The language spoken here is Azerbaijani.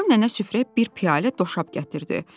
Axşam nənə süfrəyə bir piyalə doşab gətirdi.